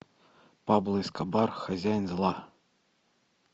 пабло эскобар хозяин зла